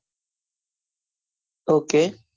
Ok